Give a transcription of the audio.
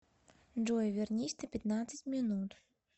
джой вернись на пятнадцать минут